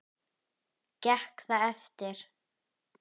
Gekk það eftir.